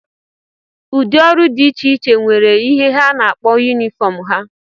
Ụdị ọrụ dị iche iche nwere ihe ha na-akpọ yunifọm ha